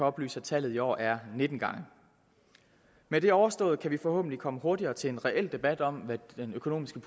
oplyse at tallet i år er nittende med det overstået kan vi forhåbentlig komme hurtigere til en reel debat om hvad den økonomiske